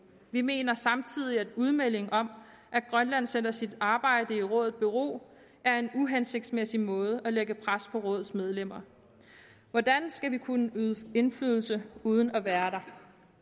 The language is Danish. vi mener samtidig at udmeldingen om at grønland stiller sit arbejde i rådet i bero er en uhensigtsmæssig måde at lægge pres på rådets medlemmer hvordan skal vi kunne yde indflydelse uden at være der